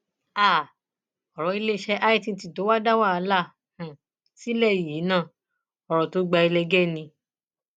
um ọrọ iléeṣẹ itt tó dá wàhálà um sílẹ yìí náà ọrọ tó gba ẹlẹgẹ ni